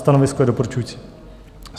Stanovisko je doporučující.